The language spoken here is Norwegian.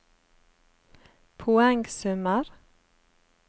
poengsummer